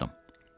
Soruşdum.